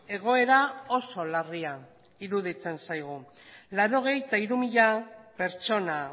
egoera oso larria iruditzen zaigu ochenta y tres mil pertsona